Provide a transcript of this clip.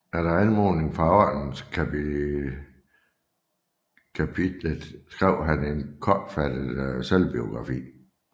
Efter anmodning fra Ordenskapitlet skrev han en kortfattet selvbiografi